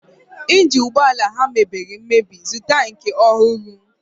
Ịnjin ụgbọala ha mebiri emebi, zụta nke ọhụrụ!